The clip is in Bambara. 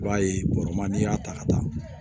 I b'a ye bɔrɔ ma n'i y'a ta ka taa